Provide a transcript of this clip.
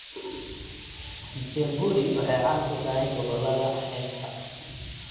Msemburi waxay caan ku tahay gobollada xeebta.